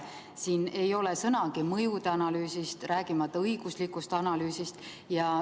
Siin ei ole sõnagi mõjude analüüsist, rääkimata õiguslikust analüüsist.